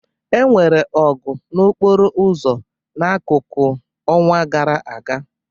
Enwere ọgụ n'okporo ụzọ na akuku n'ọnwa gara aga